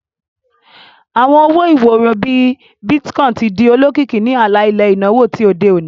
Awọn owo-iworo, bii Bitcoin, ti di olokiki ni ala-ilẹ inawo ti ode oni.